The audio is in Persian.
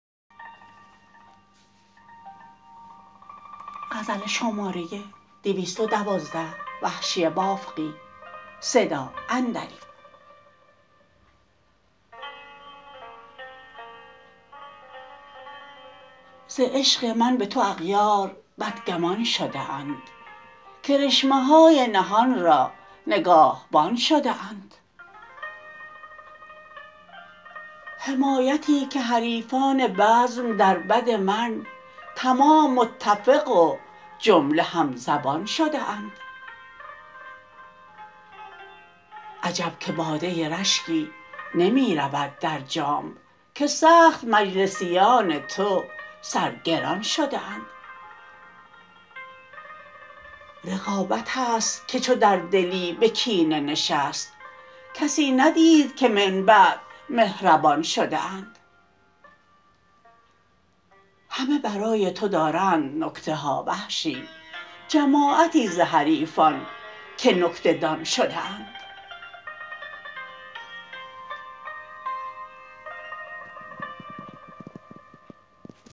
ز عشق من به تو اغیار بدگمان شده اند کرشمه های نهان را نگاهبان شده اند حمایتی که حریفان بزم در بد من تمام متفق و جمله همزبان شده اند عجب که باده رشکی نمی رود در جام که سخت مجلسیان تو سرگران شده اند رقابت است که چون در دلی به کینه نشست کسی ندید که من بعد مهربان شده اند همه برای تو دارند نکته ها وحشی جماعتی ز حریفان که نکته دان شده اند